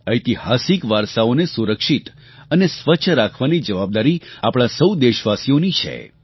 ઐતિહાસિક વારસાઓને સુરક્ષિત અને સ્વચ્છ રાખવાની જવાબદારી આપણા સહુ દેશવાસીઓની છે